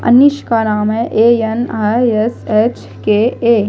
अनीशका नाम है ए_एन_आई_एस_एच_के_ए --